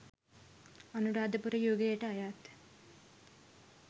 අනුරාධපුර යුගයට අයත්